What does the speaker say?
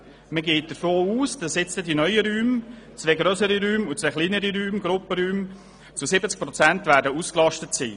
Man geht davon aus, dass die neuen Räume – zwei grössere und zwei kleinere Räume – zu 70 Prozent ausgelastet werden.